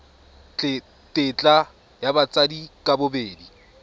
tetla ya batsadi ka bobedi